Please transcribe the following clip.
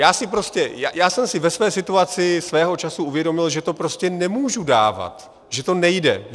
Já jsem si ve své situaci svého času uvědomil, že to prostě nemůžu dávat, že to nejde.